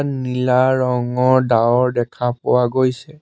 নীলা ৰঙৰ ডাৱৰ দেখা পোৱা গৈছে।